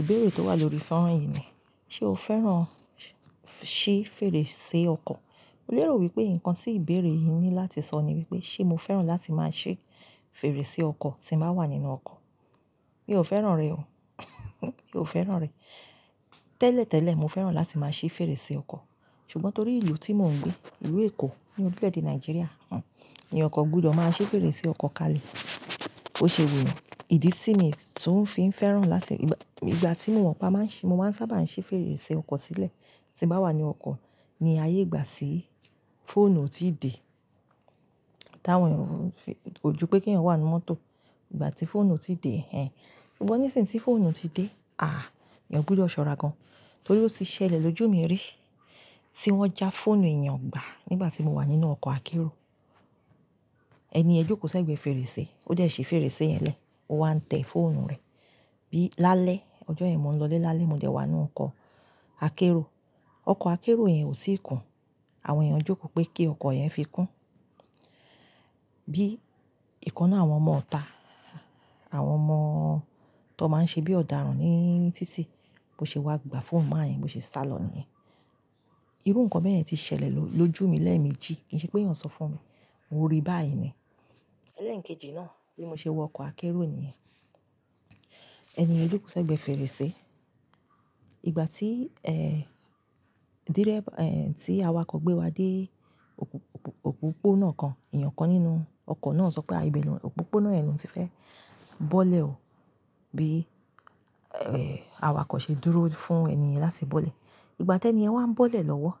Ìbéèrè tó wà lórí fọ́nrán yìí ni, ṣe o fẹ́ràn ṣí fèrèsé ọkọ̀? Mo lérò wípé nǹkan tí ìbéèrè yìí ní láti sọ ni wípé, ṣe mo fẹ́ràn láti máa ṣí fèrèsé ọkọ̀ tí mo bá wà nínú ọkọ̀? Mi ò fẹ́ràn rẹ̀ o. Mi ò fẹ́ràn rẹ̀. Tẹ́lẹ̀tẹ́lẹ̀ mo fẹ́ràn láti máa ṣí fèrèsé ọkọ̀. Ṣùgbọ́n torí ìlú tí mò ń gbé, ìlú Èkó, ní orílẹ̀-èdè Nàìjíríà, òun, ní ọkọ̀ gbúdọ̀ máa ṣí fèrèsé ọkọ̀ kalẹ̀. Ó ṣe wù mí, ìdí tí mo sì tún fi ń fẹ́ràn láti-- ìgbà tí mo wà pa máa ń ṣe, mo máa ń sábà ń ṣí fèrèsé ọkọ̀ sílẹ̀ tí mo bá wà ní ọkọ̀, ní ayé ìgbà tí fóònù ò tíì dé. Táwọn ènìyàn kò ju pé kí èèyàn wà nínú mọ́tò ìgbà tí fóònù ti dé, ẹ́n. Ṣùgbọ́n ní ìsìn tí fóònù ti dé, àh! Èèyàn gbúdọ̀ ṣọ́ra gan. Torí ó ti ṣẹlẹ̀ lójú mi rí, tí wọ́n já fóònù èèyàn gbà nígbà tí mo wà nínú ọkọ̀ akérò. Ẹni ẹ jókòó sẹ́gbẹ̀ẹ́ fèrèsé, ó dẹ̀ ṣí fèrèsé yẹn lẹ́, ó wá ń tẹ̀ fóònù rẹ̀. Bí lálẹ́, ọjọ́ yìí mò ń lọ ilé lálẹ́, mo dẹ̀ wà nínú ọkọ̀ akérò. Ọkọ̀ akérò yẹn ò tíì kún. Àwọn èèyàn jókòó pé kí ọkọ̀ yẹn fi kún. Bí ìkan náà, àwọn ọmọ ọ̀ta, àwọn ọmọ tó máa ń ṣe bí ọ̀daràn ní títì, bó ṣe wá gba fóònù máa yẹn, bó ṣe sálọ níyẹn. Irú nǹkan bẹ́ẹ̀ yẹn ti ṣẹlẹ̀ lójú mi lẹ́ẹ̀mejì. Kì í ṣe pé èèyàn sọ fún mi, mo ríi báyìí ni. Lẹ́ẹ̀mejì náà tí mo ṣe wọ ọkọ̀ akérò nìyẹn. Ẹni yen jókòó sẹ́gbẹ̀ẹ́ fèrèsé. Ìgbà tí, ẹ́, dírébà, ẹ́, tí awakọ̀ gbé wa dé òpópónà kan, èèyàn kan nínú ọkọ̀ náà sọ pé, "Àbí ẹnu òpópónà ẹnu òún tí fẹ́ bọ́lẹ̀ o." Bí, ẹ́, awakọ̀ ṣe dúró fún ẹni yẹn láti bọ́lẹ̀. Ìgbà tí ẹni ẹ wa ń bọ́lẹ̀ lọ́wọ́,